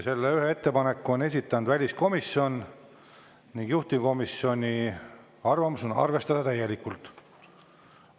Selle ühe ettepaneku on esitanud väliskomisjon ning juhtivkomisjoni arvamus on arvestada täielikult.